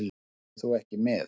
Kemur þú ekki með?